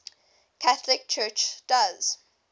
catholic church does